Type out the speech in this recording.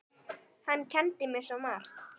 Hann kenndi mér svo margt.